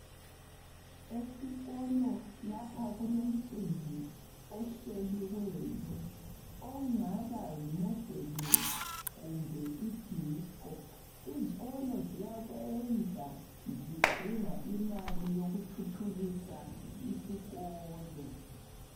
esikolo lapha kulomcimbi ohleliweyo ongaba yi modelling kumbe i disco izikolo zayakwenza zidinga imali yokuthuthukisa isikolo